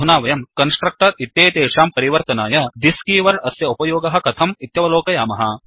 अधुना वयं कस्ट्रक्टर् इत्येतेषां परिवर्तनाय thisदिस् कीवर्ड् अस्य उपयोगः कथम् इत्यवलोकयामः